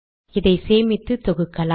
இதை சேமித்து தொகுக்கலாம்